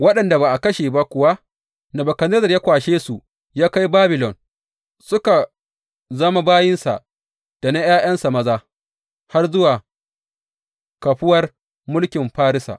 Waɗanda ba a kashe ba kuwa Nebukadnezzar ya kwashe su, ya kai Babilon, suka zama bayinsa da na ’ya’yansa maza har zuwa kahuwar mulkin Farisa.